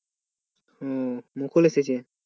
মুকুল এসেছে?